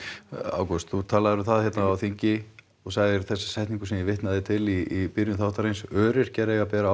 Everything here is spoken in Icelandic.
ágúst þú talaðir um það á þingi þú sagðir þessa setningu sem ég vitnaði til í byrjun þáttar öryrkjar eiga að bera